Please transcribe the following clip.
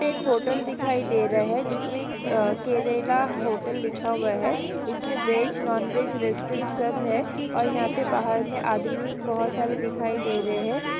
एक होटल दिखाई दे रहा है जिसमें केरला होटल लिखा हुआ है इसमें वेज नॉन वेज रेस्टोरेंट सब है और यहां पर बाहर में आदमी बहुत सारे दिखाई दे रहे हैं|